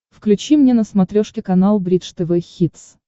включи мне на смотрешке канал бридж тв хитс